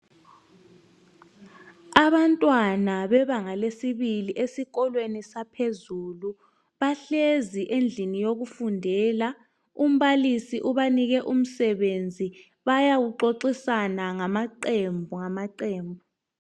Abantwana bebanga lesibili esikolweni saphezulu, bahlezi endlini yokufundela, umbalisi ubanike umsebenzi, bayawuxoxisana ngamaqembu ngamaqembu.